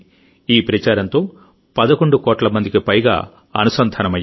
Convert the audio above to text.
ఈ ప్రచారంతో 11 కోట్ల మందికి పైగా అనుసంధానమయ్యారు